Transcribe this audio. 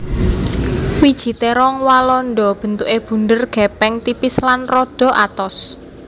Wiji térong walanda bentuké bunder gèpèng tipis lan rada atos